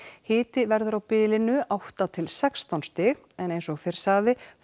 hiti verður á bilinu átta til sextán stig en eins og fyrr sagði